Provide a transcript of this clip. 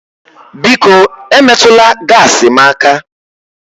Biko emetụla gaasi m aka